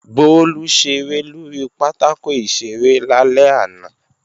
Bólú ṣeré lórí pátákò ìṣeré lálẹ́ àná